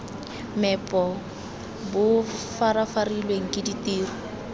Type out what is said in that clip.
meepo bo farafarilwe ke ditiro